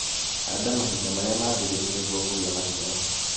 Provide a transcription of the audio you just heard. Handa mahinda marĩa maagĩrĩru nĩguo kũgĩa maciaro.